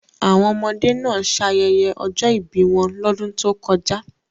Àwọn ọmọdé náà ṣayẹyẹ ọjọ́ ìbí wọn lọ́dún tó kọjá.